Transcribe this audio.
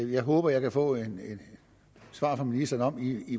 jeg håber jeg kan få et svar fra ministeren om